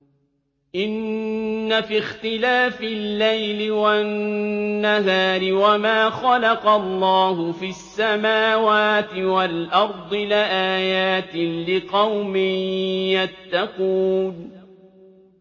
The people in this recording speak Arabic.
إِنَّ فِي اخْتِلَافِ اللَّيْلِ وَالنَّهَارِ وَمَا خَلَقَ اللَّهُ فِي السَّمَاوَاتِ وَالْأَرْضِ لَآيَاتٍ لِّقَوْمٍ يَتَّقُونَ